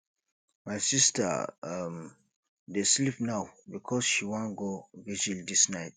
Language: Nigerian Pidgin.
my sista um dey sleep now because she wan go virgil dis night